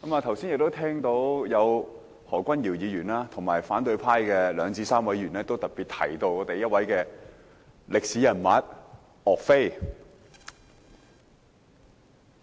剛才聽到何君堯議員和反對派的三數位議員均在發言中特別提到一位歷史人物岳飛，